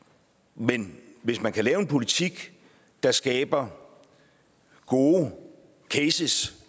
men hvis man kan lave en politik der skaber gode cases